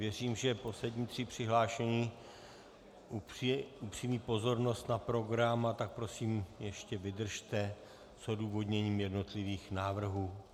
Věřím, že poslední tři přihlášení upřou pozornost na program, a tak prosím ještě vydržte s odůvodněním jednotlivých návrhů.